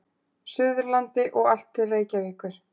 Suðurlandi og allt til Reykjavíkur.